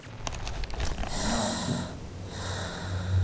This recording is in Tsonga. genoud